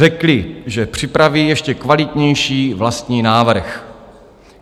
Řekli, že připraví ještě kvalitnější vlastní návrh.